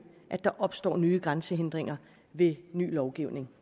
at der opstår nye grænsehindringer ved ny lovgivning